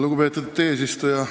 Lugupeetud eesistuja!